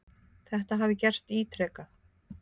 Þetta hafi gerst ítrekað.